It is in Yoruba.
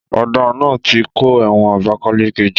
Ọ̀daràn náà ti kó ẹ̀wọ̀n Abakaleke jọ